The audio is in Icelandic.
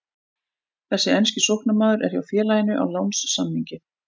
Þessi enski sóknarmaður er hjá félaginu á lánssamningi.